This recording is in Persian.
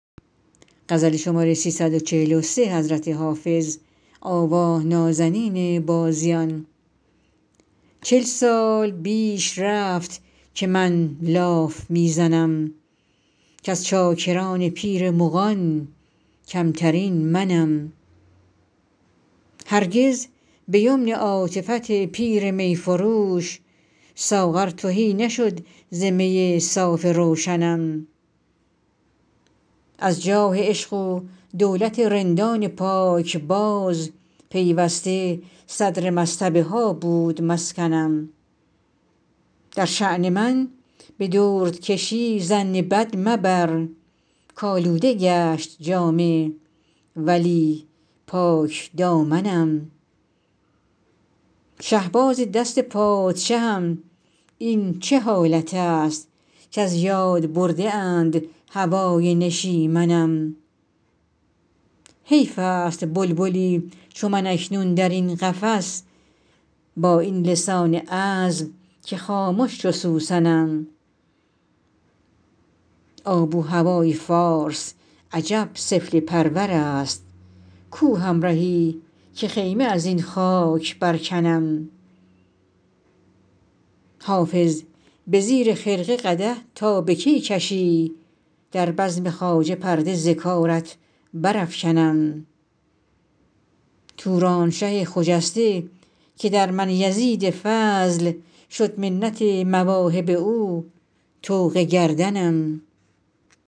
چل سال بیش رفت که من لاف می زنم کز چاکران پیر مغان کمترین منم هرگز به یمن عاطفت پیر می فروش ساغر تهی نشد ز می صاف روشنم از جاه عشق و دولت رندان پاکباز پیوسته صدر مصطبه ها بود مسکنم در شان من به دردکشی ظن بد مبر کآلوده گشت جامه ولی پاکدامنم شهباز دست پادشهم این چه حالت است کز یاد برده اند هوای نشیمنم حیف است بلبلی چو من اکنون در این قفس با این لسان عذب که خامش چو سوسنم آب و هوای فارس عجب سفله پرور است کو همرهی که خیمه از این خاک برکنم حافظ به زیر خرقه قدح تا به کی کشی در بزم خواجه پرده ز کارت برافکنم تورانشه خجسته که در من یزید فضل شد منت مواهب او طوق گردنم